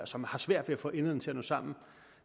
som har svært ved at få enderne til at nå sammen